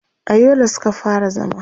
a Yola Suka fara zama